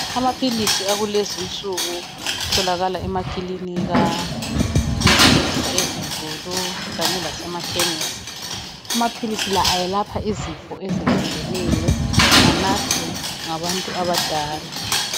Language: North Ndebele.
Amaphilisi akulezi insuku atholakala emakinika, ezibhedlela izinkulu kanye lasemakhesi. Amaphilisi la ayelapha izifo ezehlukeneyo, anathwa ngabantu abadala